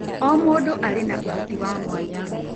O mũndũ arĩ na ũhoti wa mwanya.